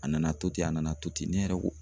A nana to ten a nana to ten ne yɛrɛ ko